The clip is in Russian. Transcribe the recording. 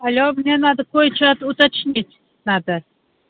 алло мне надо кое-что уточнить надо